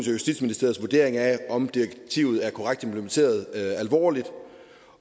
justitsministeriets vurdering af om direktivet er korrekt implementeret alvorligt